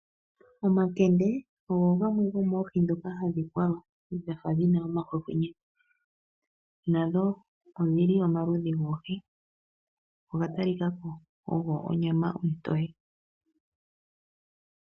Omakende ogo gamwe gomoohi dhoka hadhi kwalwa dhafa dhina omahwehwenye, nadho odhili omaludhi goohi. Oga tali kako ogo onyama ontoye.